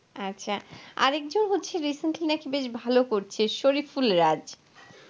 আচ্ছা আরেক জন হচ্ছে recently বেশ ভালো করছে শরিফুল রাজ.